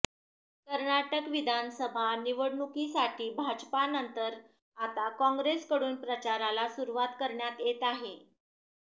कर्नाटक विधानसभा निवडणुकीसाठी भाजपनंतर आता काँग्रेसकडून प्रचाराला सुरवात करण्यात येत आहे